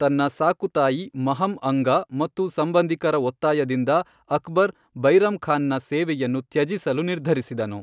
ತನ್ನ ಸಾಕು ತಾಯಿ ಮಹಮ್ ಅಂಗಾ ಮತ್ತು ಸಂಬಂಧಿಕರ ಒತ್ತಾಯದಿಂದ ಅಕ್ಬರ್ ಬೈರಮ್ ಖಾನ್ ನ ಸೇವೆಯನ್ನು ತ್ಯಜಿಸಲು ನಿರ್ಧರಿಸಿದನು.